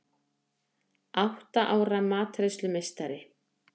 Átta ára matreiðslumeistari